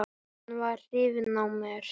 Hann var hrifinn af mér.